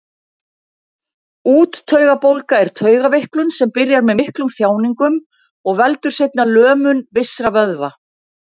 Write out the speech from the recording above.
Úttaugabólga er taugaveiklun sem byrjar með miklum þjáningum og veldur seinna lömun vissra vöðva.